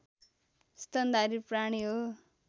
स्तनधारी प्राणी हो